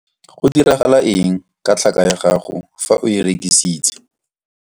Go diragala eng ka tlhaka ya gago fa o e rekisitse?